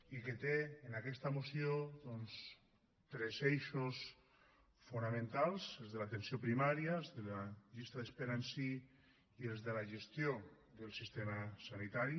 i que té en aquesta moció doncs tres eixos fonamentals els de l’atenció primària els de la llista d’espera en si i els de la gestió del sistema sanitari